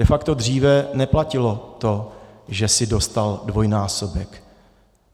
De facto dříve neplatilo to, že jsi dostal dvojnásobek.